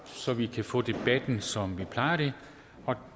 så vi kan få debatten som vi plejer og